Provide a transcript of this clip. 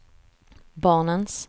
barnens